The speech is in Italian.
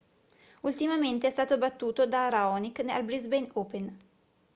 ultimamente è stato battuto da raonic al brisbane open